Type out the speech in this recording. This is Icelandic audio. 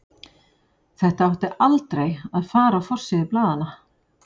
Þetta átti aldrei að fara á forsíður blaðanna.